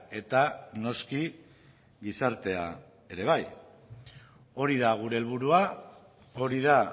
eta noski gizartea ere bai hori da gure helburua hori da